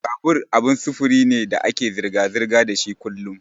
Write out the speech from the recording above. Babur abin sufuri ne da ake zirga-zirga dashi kullun.